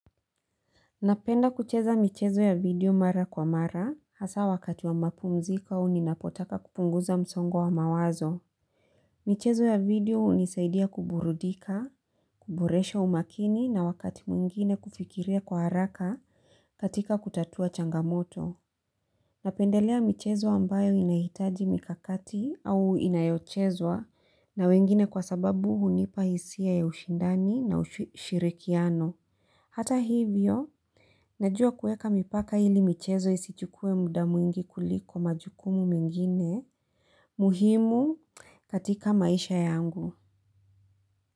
Napenda kucheza michezo ya video mara kwa mara hasa wakati wa mapumziko au ninapotaka kupunguza msongo wa mawazo. Michezo ya video hunisaidia kuburudika, kuboresha umakini na wakati mwingine kufikiria kwa haraka katika kutatua changamoto. Napendelea michezo ambayo inahitaji mikakati au inayochezwa na wengine kwa sababu hunipa hisia ya ushindani na ushirikiano. Hata hivyo, najua kueka mipaka ili michezo isichukue muda mwingi kuliko majukumu mengine muhimu katika maisha yangu.